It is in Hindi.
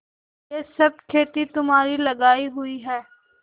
यह सब खेती तुम्हारी लगायी हुई है